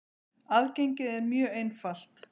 Aðgengið er mjög einfalt.